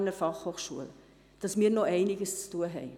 Wir haben noch einiges zu tun.